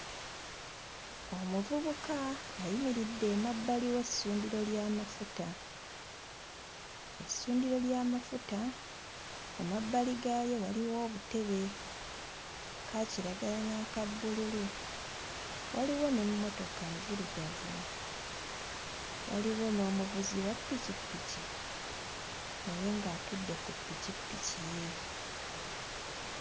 Omuvubuka ayimiridde emabbali w'essundiro ly'amafuta. Essundiro ly'amafuta mu mabbali gaalyo waliwo obutebe, aka kiragala n'aka bbululu, waliwo n'emmotoka nzirugavu, waliwo n'omuvuzi wa ppikipiki naye ng'atudde ku ppikipiki ye.